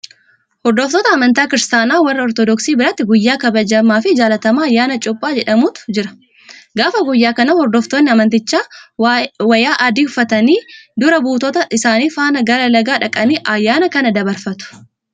Hordoftoota amantaa kiristaanaa warra Ortodoksii biratti guyyaa kabajamaafi jaalatamaa Ayyaana Cuuphaa jedhamutu jira. Gaafa guyyaa kanaa hordoftoonni amantichaa wayyaa adii uffatanii dura buutota isaanii faana gara lagaa dhaqanii ayyaana kana dabarfatu.